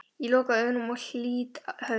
Ég loka augunum og lýt höfði.